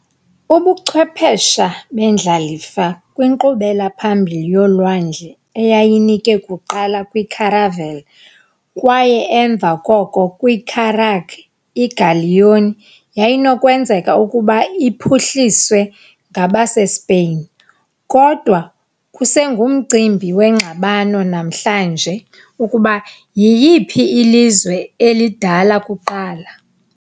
Ubuchwephesha bendlalifa kwinkqubela phambili yolwandle eyayinike kuqala kwi- caravel kwaye emva koko kwi- carrack, i-galleon yayinokwenzeka ukuba iphuhliswe ngabaseSpain, kodwa kusengumcimbi wengxabano namhlanje ukuba yiyiphi ilizwe elidala kuqala.